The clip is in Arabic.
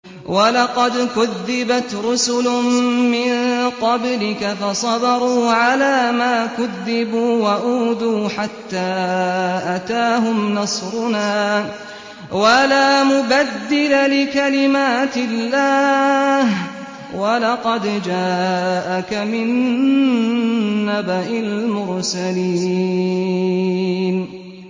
وَلَقَدْ كُذِّبَتْ رُسُلٌ مِّن قَبْلِكَ فَصَبَرُوا عَلَىٰ مَا كُذِّبُوا وَأُوذُوا حَتَّىٰ أَتَاهُمْ نَصْرُنَا ۚ وَلَا مُبَدِّلَ لِكَلِمَاتِ اللَّهِ ۚ وَلَقَدْ جَاءَكَ مِن نَّبَإِ الْمُرْسَلِينَ